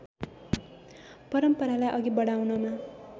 परम्परालाई अघि बढाउनमा